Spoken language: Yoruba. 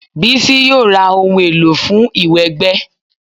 Bísí yóò ra ohun èlò fún ìwẹ̀ gbẹ